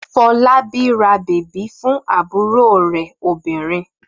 Fọlábí ra bèbí fún àbúrò rẹ̀ obìnrin.